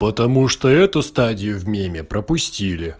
потому что эту стадию в меме пропустили